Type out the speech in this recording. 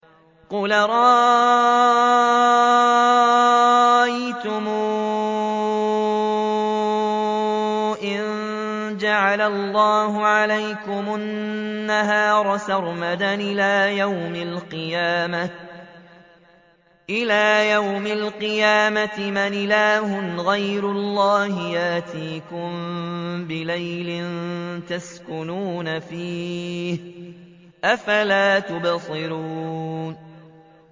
قُلْ أَرَأَيْتُمْ إِن جَعَلَ اللَّهُ عَلَيْكُمُ النَّهَارَ سَرْمَدًا إِلَىٰ يَوْمِ الْقِيَامَةِ مَنْ إِلَٰهٌ غَيْرُ اللَّهِ يَأْتِيكُم بِلَيْلٍ تَسْكُنُونَ فِيهِ ۖ أَفَلَا تُبْصِرُونَ